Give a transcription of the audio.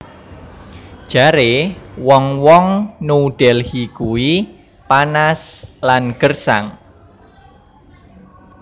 Jare wong wong New Delhi kui panas lan gersang